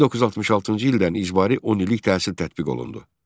1966-cı ildən icbari 10 illik təhsil tətbiq olundu.